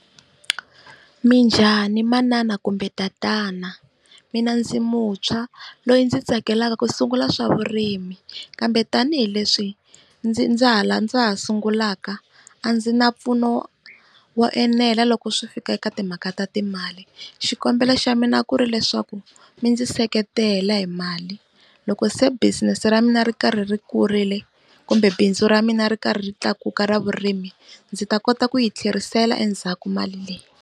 Minjhani manana kumbe tatana mina ndzi mutshwa loyi ndzi tsakelaka ku sungula swa vurimi, kambe tanihileswi ndzi ndza ha sungulaka a ndzi na mpfuno wo enela loko swi fika eka timhaka ta timali. Xikombelo xa mina ku ri leswaku mi ndzi seketela hi mali loko se business ra mina ri karhi ri kurile kumbe bindzu ra mina ri karhi ri tlakuka ra vurimi ndzi ta kota ku yi tlherisela endzhaku mali leyi.